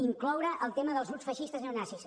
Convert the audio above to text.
incloure el tema dels grups feixistes neonazis